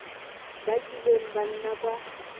ba kileng ba nna kwa